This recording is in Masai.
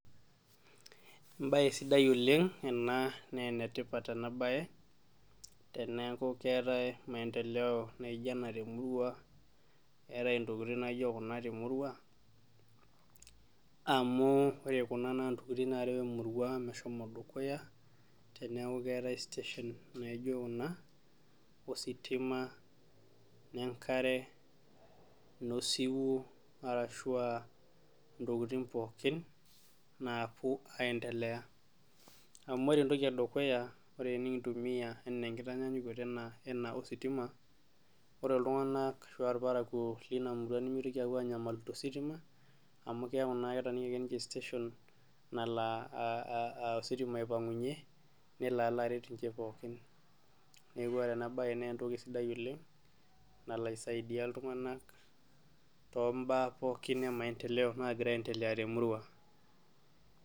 ebaye sidai ena naa enetipat enabaye maendeleo najio ena temurua etae intokitin najio, ore naa intokitin nareo emuruang dukuya naa keetae station najio kuna ositima inengare inosiwuo, arashu aa intokitin pooki, napuo aiendelea amu ore entoki edukuya ore tenikintumiya enaa enkitanyanyukoto ena ositima ore iltunganak ashu ilparakuo mitoki anyamalu tositima amukelo aisaidia iltunganak too ibaa naagira ayaendelea temurua.